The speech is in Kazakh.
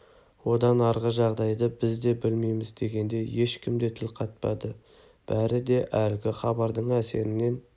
одан арғы жағдайды біз де білмейміз дегенде ешкім де тіл қатпады бәрі де әлгі хабардың әсерінен